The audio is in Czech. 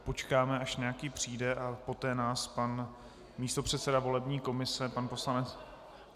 Počkáme, až nějaký přijde, a poté nás pan místopředseda volební komise, pan poslanec...